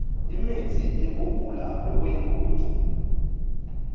imitsi yekugula lokuyingoti